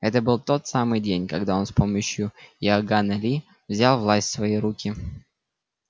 это был тот самый день когда он с помощью иоганна ли взял власть в свои руки